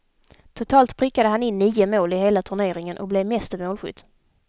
Totalt prickade han in nio mål i hela turneringen och blev meste målskytt.